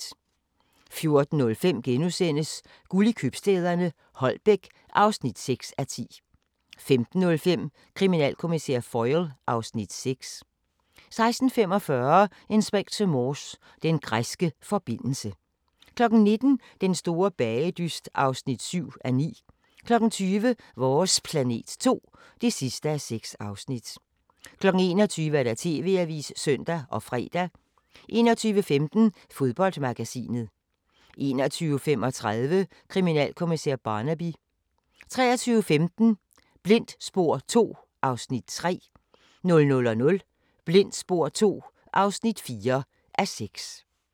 14:05: Guld i købstæderne - Holbæk (6:10)* 15:05: Kriminalkommissær Foyle (Afs. 6) 16:45: Inspector Morse: Den græske forbindelse 19:00: Den store bagedyst (7:9) 20:00: Vores planet 2 (6:6) 21:00: TV-avisen (søn og fre) 21:15: Fodboldmagasinet 21:35: Kriminalkommissær Barnaby 23:15: Blindt spor II (3:6) 00:00: Blindt spor II (4:6)